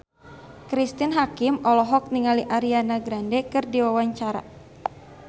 Cristine Hakim olohok ningali Ariana Grande keur diwawancara